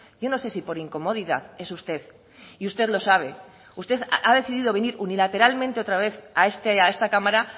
yo no sé si por incomodidad es usted y usted lo sabe usted ha decidido venir unilateralmente otra vez a esta cámara